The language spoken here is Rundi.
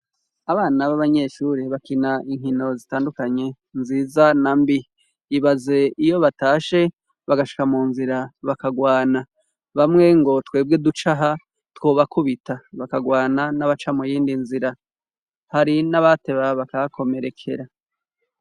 abana b'abanyeshure bakina inkino zitandukanye nziza na mbi ibaze iyo batashe bagashika mu nzira bakagwana bamwe ngo twebwe ducaha twobakubita bakagwana n'abaca mu yindi nzira hari n'abateba bakahakomerekera